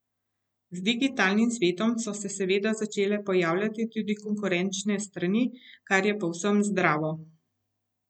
Z digitalnim svetom so se seveda začele pojavljati tudi konkurenčne strani, kar je povsem zdravo.